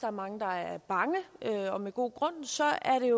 er mange der er bange og med god grund så er det